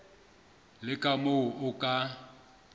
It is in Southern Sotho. le ka moo o ka